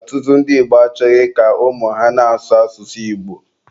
Ọtụtụ ndị Igbo achọghị ka ụmụ ha na-asụ asụsụ Igbo.